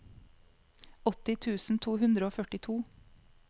åtti tusen to hundre og førtito